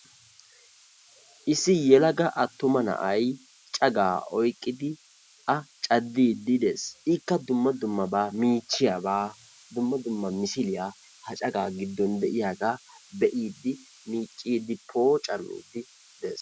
issi yelaga attuma na'ay cagaa o yqqidi a cadiidi de"ees, ikka kka dumma dumma misiliya ha cagaa giddon de"iyaga beiidi miciidi poocamiidi dees.